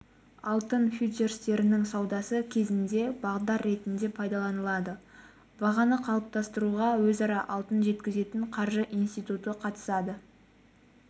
алтын фьючерстерінің саудасы кезінде бағдар ретінде пайдаланылады бағаны қалыптастыруға өзара алтын жеткізетін қаржы институты қатысады